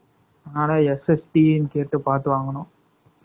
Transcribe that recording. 21 . ஆனா, SST ன்னு கேட்டு, பார்த்து வாங்குனோம்